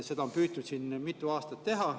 Seda on püütud mitu aastat teha.